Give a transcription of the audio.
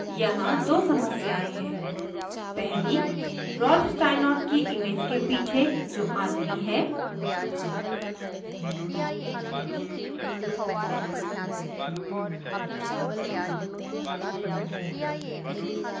यहाँ दो समस्याएँ हैं पहली रॉल्फ स्टाइनॉर्ट की इमेज के पीछे जो आदमी है